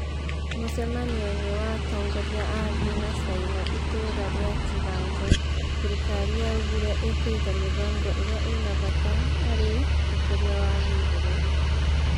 mũcemanio-inĩ wa atongoria a thĩ na caina itũra ria Kiganjo thirikari yaugire ĩkũiga mĩfango ĩrĩa ina bata harĩ ũkũria wa gũburũri